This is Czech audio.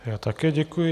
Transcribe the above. Já také děkuji.